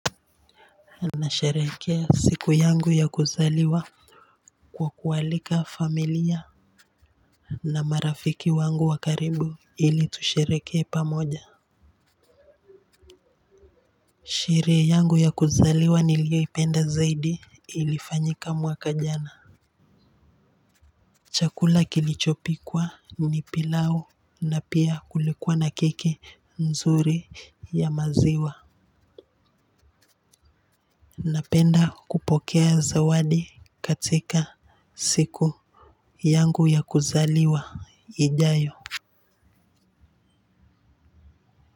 Nasherehekea siku yangu ya kuzaliwa kwa kualika familia na marafiki wangu wa karibu, ili tushereheke pamoja sherehe yangu ya kuzaliwa nilioipenda zaidi ilifanyika mwaka jana chakula kilichopikwa ni pilau na pia kulikuwa na keki nzuri ya maziwa napenda kupokea zawadi katika siku yangu ya kuzaliwa ijayo.